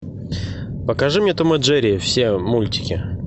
покажи мне том и джерри все мультики